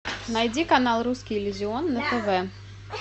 найди канал русский иллюзион на тв